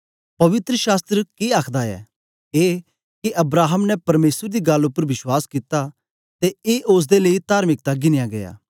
पवित्र शास्त्र के आखदा ऐ ए के अब्राहम ने परमेसर दी गल्ल उपर विश्वास कित्ता ते ए ओसदे लेई तार्मिकता गिनया गीया